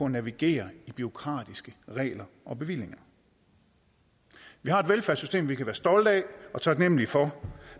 navigere i bureaukratiske regler og bevillinger vi har et velfærdssystem vi kan være stolte af og taknemmelige for